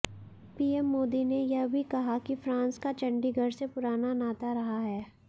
PM Modi ने यह भी कहा कि फ्रांस का चंडीगढ़ से पुराना नाता रहा है